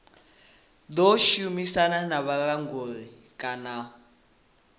ḓo shumisana na vhulanguli kana